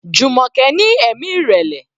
Jumoke ní ẹ̀mí ìrẹ̀lẹ̀.